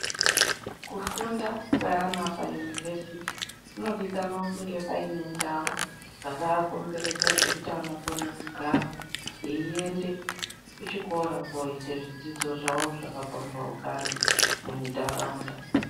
Kufunda kweana paunivhesiti kunodikanwa kunge paine ndau dzakakomberedza dzekuti anokone kugara. Eiende kuchikora koite zvidzidzo zvavo zvakapambaukana mundaraunda.